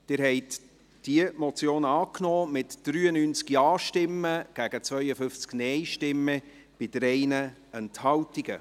Sie haben diese Motion angenommen, mit 93 Ja- gegen 52 Nein-Stimmen bei 3 Enthaltungen.